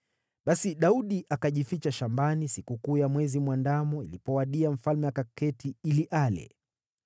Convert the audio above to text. Basi Daudi akajificha shambani, na sikukuu ya Mwezi Mwandamo ilipowadia, mfalme akaketi ili ale.